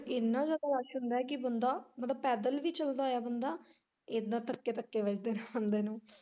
ਇੰਨਾ ਜਿਆਦਾ ਰੱਸ਼ ਹੁੰਦਾ ਕਿ ਬੰਦਾ ਪੈਦਲ ਵੀ ਚੱਲਦਾ ਐ ਬੰਦਾ ਇੱਦਾਂ ਧੱਕੇ ਧੱਕੇ ਵੱਜਦੇ ਆਉਦੇ ਨੂੰ।